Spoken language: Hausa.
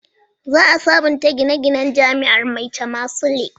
Za a sabunta gine-ginen jami'ar Maitama Sule